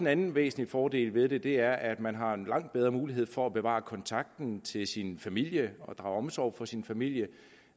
anden væsentlig fordel ved det og det er at man har langt bedre mulighed for at bevare kontakten til sin familie og drage omsorg for sin familie